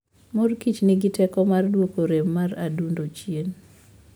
Mor Kich nigi teko mar duoko rem mar adundo chien.